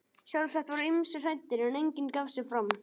Sjálfsagt voru ýmsir hræddir, en enginn gaf sig fram.